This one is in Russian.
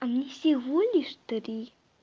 они всего лишь три